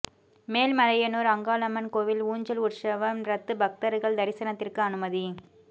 மேல்மலையனூர் அங்காளம்மன் கோயில் ஊஞ்சல் உற்சவம் ரத்து பக்தர்கள் தரிசனத்திற்கு அனுமதி